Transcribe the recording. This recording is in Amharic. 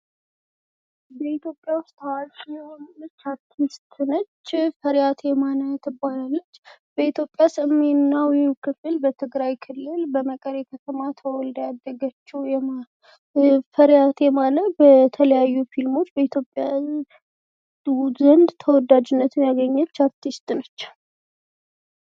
በኢትዮጵያ ዉስጥ ታዋቂ የሆነች አርቲስት ነች ፤ ፈሪሃት የማነ ትባላለች። በኢትዮጵያ በሰሜናዊ ክፍል በትግራይ ክልል በመቀሌ ከተማ ተወልዳ ያደገችው ፈሪሃት የማነ በተለያዩ ፊልሞች በኢትዮጵያ ተወዳጅነትን ያገኘች አርቲስት ነች።